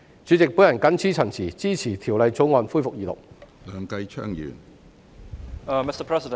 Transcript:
主席，我謹此陳辭，支持二讀《條例草案》。